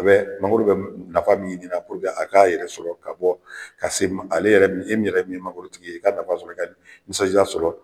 a bɛ mangoro bɛ nafa min ɲini na a k'a yɛrɛ sɔrɔ ka bɔ ka se ale yɛrɛ min e min yɛrɛ min ye mangoro tigi ye i ka nafa sɔrɔ i ka nisɔnjaa sɔrɔ.